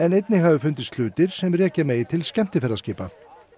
einnig hafi fundist hlutir sem rekja megi til skemmtiferðaskipa